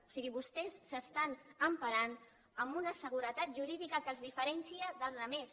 o sigui vostès s’emparen en una seguretat jurídica que els diferencia dels altres